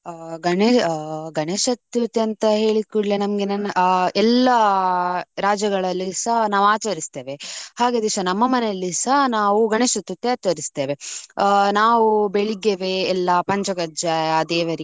ಆ ಗಣೆ~ ಅ ಗಣೇಶ್ ಚತುರ್ಥಿ ಅಂತ ಹೇಳಿದ್ ಕೂಡ್ಲೆ, ನಮ್ಗೆ ನನ್ನ ಆ ಎಲ್ಲಾ ಆ ರಾಜ್ಯಗಳಲ್ಲಿಸ ನಾವು ಆಚರಿಸ್ತೇವೆ. ಹಾಗೆ ದಿವಸ ನಮ್ಮ ಮನೆಯಲ್ಲಿಸ ನಾವು ಗಣೇಶ್ ಚತುರ್ಥಿ ಆಚರಿಸ್ತೇವೆ. ನಾವು ಬೆಳಿಗ್ಗೆವೆ ಎಲ್ಲಾ ಪಂಚಕಜ್ಜಾಯ ದೇವರಿಗೆ.